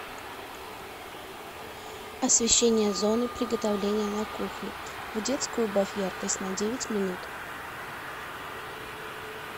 освещение зоны приготовления на кухне в детской убавь яркость на девять минут